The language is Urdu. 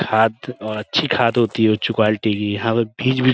کھاد اور اچھی کھاد ہوتی ہے اچھ قولیتے کی، یہا بس بیج بھی --